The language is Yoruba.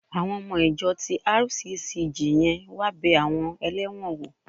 Àwọn ọmọ ìjọ RCCG yẹn wá bẹ àwọn ẹlẹ́wọ̀n wò